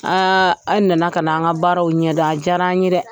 a' na na ka na an ka baaraw ɲɛ dɔn a diyara an ye dɛ.